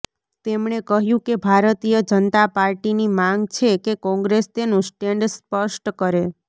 તેમણે કહ્યું કે ભારતીય જનતા પાર્ટીની માંગ છે કે કોંગ્રેસ તેનું સ્ટેન્ડ સ્પષ્ટ કરે